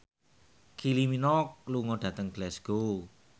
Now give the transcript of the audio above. Kylie Minogue lunga dhateng Glasgow